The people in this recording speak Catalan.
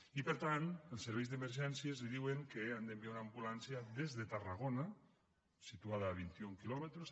i per tant els serveis d’emergència els diuen que han d’enviar una ambulància des de tarragona situada a vint i un quilòmetres